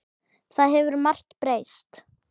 Það hefur margt breyst.